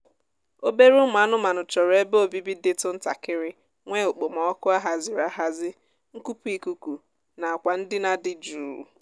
obere ụmụ anụmaanụ chọrọ ebe obibi dịtụ ntakịrị nwee okpomọọkụ a haziri ahazi nkupu ikuku na akwa ndina dị jụụ